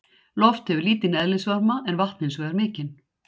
Loft hefur lítinn eðlisvarma en vatn hins vegar mikinn.